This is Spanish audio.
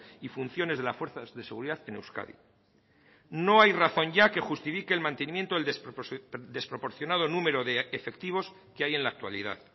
y funciones de las fuerzas de seguridad en euskadi no hay razón ya que justifique el mantenimiento del desproporcionado número de efectivos que hay en la actualidad